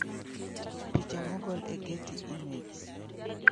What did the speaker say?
Picha mogol e Getty Images